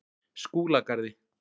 Skúlagarði